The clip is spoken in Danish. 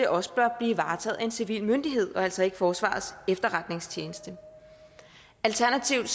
også bør blive varetaget af en civil myndighed og altså ikke forsvarets efterretningstjeneste alternativt